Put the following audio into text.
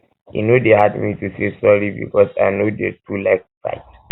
e no dey hard me to dey say sorry because i no dey too like fight